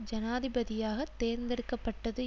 ஜனாதிபதியாக தேர்ந்தெடுக்க பட்டது